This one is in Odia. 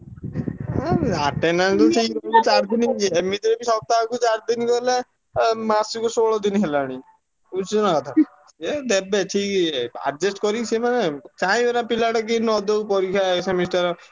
ଉଁ attendance ଏମିତିରେ ବି ସପ୍ତାହକୁ ଚାରି ଦିନି ଗଲେ ଆ ମାସୁକୁ ଷୋଳ ଦିନି ହେଲାଣି। ବୁଝୁଛୁନା କଥା। ଏ ଦେବେ ଠିକ୍ adjust କରି ସେ ମାନେ ଚାହିଁବେନା ପିଲାଗୁଡା କିମିତି ନ ଦଉ ପରୀକ୍ଷା ଏ semester